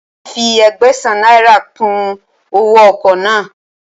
Wọn ti fi Ẹgbẹ̀sán náírà kùn owóo ọkọ̀ náà.